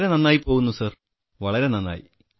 വളരെ നന്നായി പോകുന്നു സാർ വളരെ നന്നായി